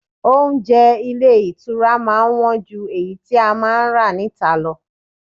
Oúnjẹ ilé ìtura máa ń wọ́n ju èyí tí a máa ń rà níta lọ.